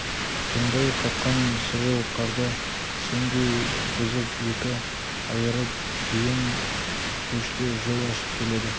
тоңдай қатқан сіреу қарды сендей бұзып екі айырып дүйім көшке жол ашып келеді